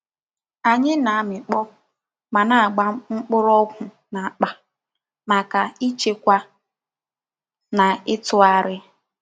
Anyi na-amikpo ma na-agba mgborogwu n'akpa maka ichekwa na itughari.